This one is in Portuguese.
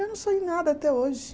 Eu não sei nada até hoje.